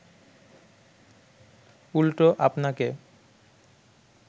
উল্টো আপনাকে